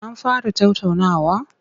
An fara tattaunawar?